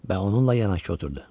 Və onunla yanaşı oturdu.